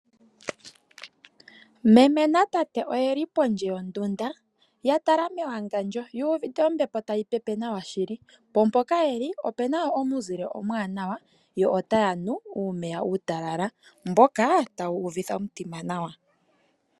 Meme na tate oyeli pondje yo ndunda, ya tala me wangandjo, yu uvite ompepo tayi pepe nawa shili. Mpo mpoka yeli, opuna wo omuzile omuwanawa, yo otaya nu uumeya uutalal, mboka tawu u vitha omitima nawa.